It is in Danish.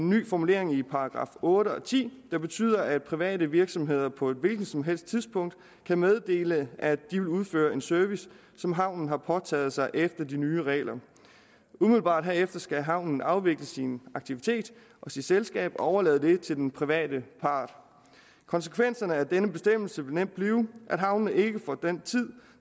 ny formulering i § otte og § ti der betyder at private virksomheder på et hvilket som helst tidspunkt kan meddele at de vil udføre en service som havnen har påtaget sig efter de nye regler umiddelbart herefter skal havnen afvikle sin aktivitet og sit selskab og overlade det til den private part konsekvenserne af denne bestemmelse vil nemt blive at havnene ikke får den tid